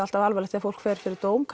alltaf alvarlegt ef fólk fer fyrir dóm